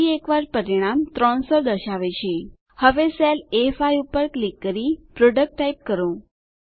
ફરી એકવાર પરિણામ 300 દર્શાવે છે હવે સેલ એ5 પર ક્લિક કરી પ્રોડક્ટ ટાઈપ કરો